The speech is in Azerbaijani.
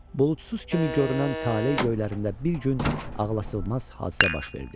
Buludsuz kimi görünən taley göylərində bir gün ağlasığmaz hadisə baş verdi.